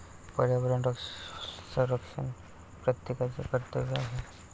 पर्यावरण संरक्षण प्रत्येकाचे कर्तव्य आहे.